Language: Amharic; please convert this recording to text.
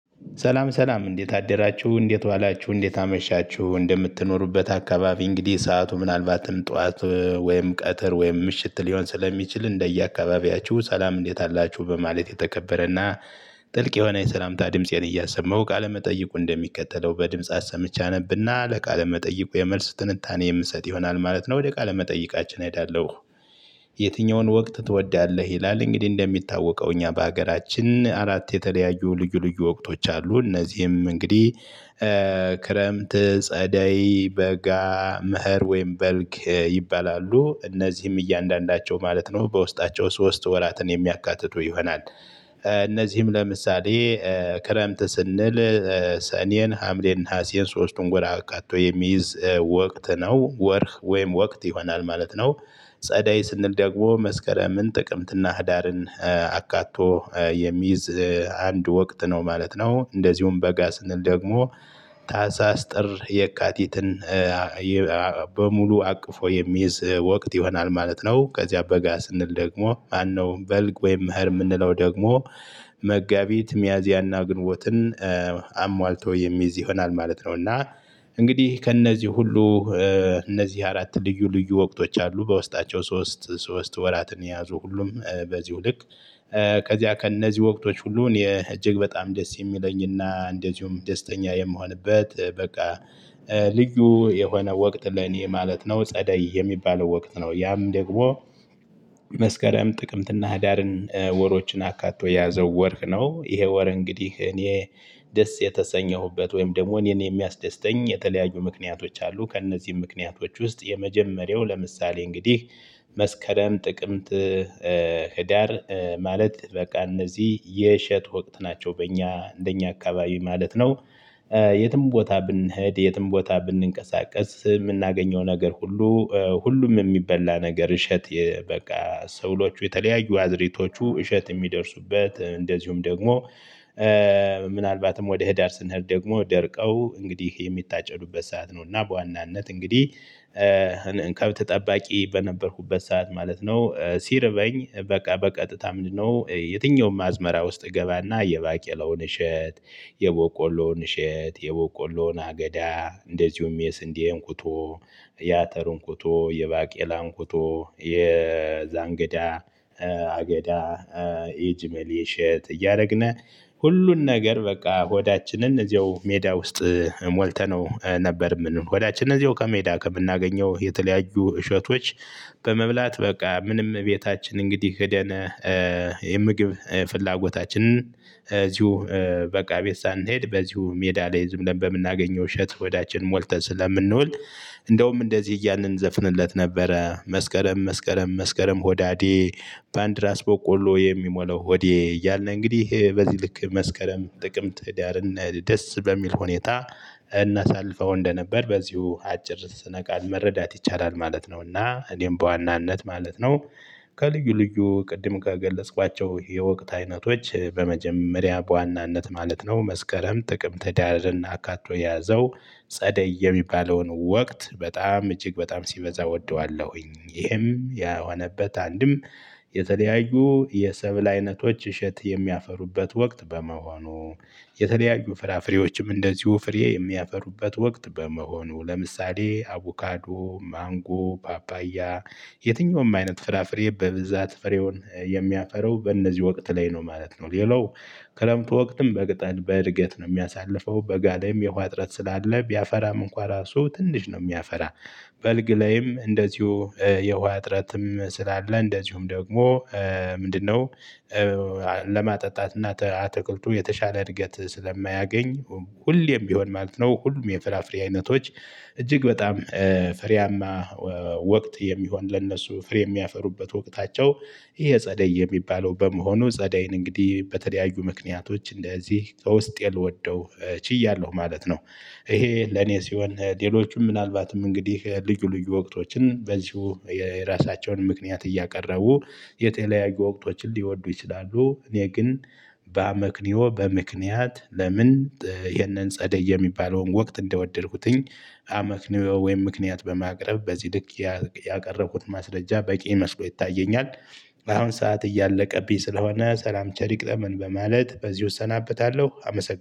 ሠላም ሠላም እንዴት አደራችሁ እንዴት ዋላችሁ እንዴት አመሻችሁ እንደምትኖሩበት አካባቢ እንግዲህ ሰዓቱ ምናልባትም ጠዋት ወይም ቀትር ወይም ምሽት ሊሆን ስለሚችል እንደየአካባቢያችሁ ሠላም እንዴት አላችሁ በማለት የተከበረ እና ጥልቅ የሆነ የሠላምታ ድምፄን እያሰማው ቃለመጠይቁ እንደሚከተለው በድምጽ ሰምቼ አነብና ለቃለ መጠይቁ የመልስ ትንታኔ የምሰጥ ይሆናል ማለት ነው ወደ ቃለ መጠይቃችን እሄዳለሁ። የትኛውን ወቅት ትወዳለህ ይላል? እንግዲህ እንደሚታወቀው እኛ በሀገራችን አራት የተለያዩ ልዩ ልዩ ወቅቶች አሉ። እነዚህም እንግዲህ ክረምት ጸደይ በጋ መኸር ወይም በልግ ይባላሉ እነዚህም እያንዳንዳቸው ማለት ነው በውስጣቸው ሶስት ወራትን የሚያካትቱ ይሆናል። እነዚህም ለምሳሌ ክረምት ስንል ሰኔን ሐምሌን ነሐሴን ሶስቱን ወር አካቶ የሚይዝ ወቅት ነው ወርህ ወይም ወቅት ይሆናል ማለት ነው። ጸደይ ስንል ደግሞ መስከረምን ጥቅምትና ህዳርን አካቶ የሚይዝ አንድ ወቅት ነው ማለት ነው። እንደዚሁም በጋ ስንል ደግሞ ታሀሳስ ጥር የካቲትን በሙሉ አቅፎ የሚይዝ ወቅት ይሆናል ማለት ነው። ከዚያ በጋ ስንል ደግሞ ማነው በልግ ወይም መኸር የምንለው ደግሞ መጋቢት ሚያዚያና ግንቦትን አሟልቶ የሚይዝ ይሆናል ማለት ነው። እና እንግዲህ ከእነዚህ ሁሉ እነዚህ አራት ልዩ ልዩ ወቅቶች አሉ በውስጣቸው ሶስት ሶስት ወራትን የያዙ ሁሉም በዚሁ ልክ። ከዚያ ከእነዚህ ወቅቶች ሁሉ እኔ እጅግ በጣም ደስ የሚለኝ እና እንደዚሁም ደስተኛ የምሆንበት በቃ ልዩ የሆነ ወቅት ለኔ ማለት ነው። ጸደይ የሚባለው ወቅት ነው ያም ደግሞ መስከረም ጥቅምትና ህዳርን ወሮችን አካቶ የያዘው ወርህ ነው። ይሄ ወር እንግዲህ እኔ ደስ የተሰኘሁበት ወይም ደግሞ እኔን የሚያስደስተኝ የተለያዩ ምክንያቶች አሉ። ከእነዚህም ምክንያቶች ውስጥ የመጀመሪያው ለምሳሌ እንግዲህ መስከረም ጥቅምት ህዳር ማለት በቃ እነዚህ የእሸት ወቅት ናቸው በእኛ እንደኛ አካባቢ ማለት ነው። የትም ቦታ ብንሄድ የትም ቦታ ብንቀሳቀስ የምናገኘው ነገር ሁሉ ሁሉም የሚበላ ነገር እሸት የ በቃ ሰብሎቹ የተለያዩ አዝራኢቶቹ እሸት የሚደርሱበት እንደዚሁም ደግሞ ምናልባትም ወደ ህዳር ስንሄድ ደግሞ ደርቀው እንግዲህ የሚታጨዱበት ሰዓት ነው። እና በዋናነት እንግዲህ ከብት ጠባቂ በነበርኩበት ሰዓት ማለት ነው። ሲርበኝ በቃ በቀጥታ ምንድንነው የትኛውም አዝመራ ውስጥ እገባና የባቄላውን እሸት የበቆሎን እሸት የበቆሎን አገዳ እንደዚሁም የስንዴ እንኩቶ የአተር እንኩቶ የባቄላ እንኩቶ የዘንጋዳ አገዳ የእጅመሌ እሸት እያደረግነ ሁሉን ነገር በቃ ሆዳችንን እዚያው ሜዳ ውስጥ ሞልተነው ነበር የምንውል ሆዳችን እዚያው ከሜዳ ከምናገኘው የተለያዩ እሸቶች በመብላት በቃ ምንም ቤታችን እንግዲህ ሂደን የምግብ ፍላጎታችንን እዚሁ በቃ ቤት ሳንሄድ በዚሁ ሜዳ ላይ ዝም ብለን በምናገኘው እሸት ሆዳችን ሞልተን ስለምንውል እንደውም እንደዚህ እያልን እንዘፍንለት ነበረ መስከረም መስከረም መስከረም ሆዳዴ በአንድ ራስ በቆሎ የሚሞላው ሆዴ እያልነ እንግዲህ በዚህ ልክ መስከረም ጥቅም ህዳርን ደስ በሚል ሁኔታ እናሳልፈው እንደነበር በዚሁ አጭር ስነቃል መረዳት ይቻላል ማለት ነው። እና እኔም በዋናነት ማለት ነው። ከልዩ ልዩ ቅድም ከገለጽኳቸው የወቅት አይነቶች በመጀመሪያ በዋናነት ማለት ነው መስከረም ጥቅምት ህዳርን አካቶ የያዘው ጸደይ የሚባለውን ወቅት በጣም እጅግ በጣም ሲበዛ እወደዋለሁኝ። ይህም ያሆነበት አንድም የተለያዩ የሰብል አይነቶች እሸት የሚያፈሩበት ወቅት በመሆኑ የተለያዩ ፍራፍሬዎችም እንደዚሁ ፍሬ የሚያፈሩበት ወቅት በመሆኑ ለምሳሌ አቮካዶ ማንጎ ፓፓያ የትኛውም አይነት ፍራፍሬ በብዛት ፍሬውን የሚያፈራው በእነዚህ ወቅት ላይ ነው ማለት ነው። ሌላው ክረምቱ ወቅትም በቅጠል በእድገት ነው የሚያሳልፈው በጋ ላይም የውሃ እጥረት ስላለ ቢያፈራም እንኳን ራሱ ትንሽ ነው የሚያፈራ። በልግ ላይም እንደዚሁ የውሃ እጥረትም ስላለ እንደዚሁም ደግሞ ምንድንነው ለማጠጣት እና ተ አትክልቱ የተሻለ እድገት ስለማያገኝ። ሁሌም ቢሆን ማለት ነው ሁሉም የፍራፍሬ አይነቶች እጅግ በጣም ፍሬያማ ወቅት የሚሆን ለነሱ ፍሬ የሚያፈሩበት ወቅታቸው ይሄ ጸደይ የሚባለው በመሆኑ ጸደይን እንግዲህ በተለያዩ ምክንያቶች እንደዚህ ከውስጤ ልወደው ችያለሁ ማለት ነው። ይሄ ለኔ ሲሆን ሌሎቹም ምናልባትም እንግዲህ ልዩ ልዩ ወቅቶችን በዚሁ የራሳቸውን ምክንያት እያቀረቡ የተለያዩ ወቅቶችን ሊወዱ ይችላሉ። እኔ ግን በአመክኒዮ በምክንያት ለምን? ይሄንን ጸደይ የሚባለውን ወቅት እንደወደድኩትኝ አመክኒዮ ወይም ምክንያት በማቅረብ በዚህ ልክ ያ ያቀረብኩት ማስረጃ በቂ መስሎ ይታየኛል። አሁን ሰዓት እያለቀብኝ ስለሆነ ሠላም ቸር ይግጠመን በማለት በዚሁ እሰናበታለሁ አመሰግናለሁ